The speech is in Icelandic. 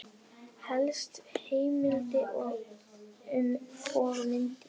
Helsta heimild og mynd